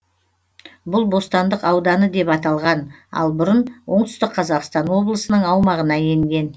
бұл бостандық ауданы деп аталған ал бұрын оңтүстік қазақстан облысының аумағына енген